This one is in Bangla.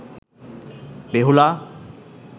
বেহুলা